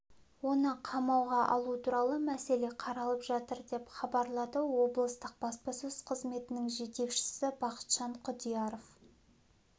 оны қамауға алу туралы мәселе қаралып жатыр деп хабарлады облыстық баспасөз қызметінің жетекшісі бақытжан құдияров